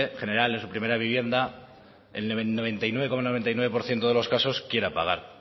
general en su primera vivienda el noventa y nueve coma noventa y nueve por ciento de los casos quiera pagar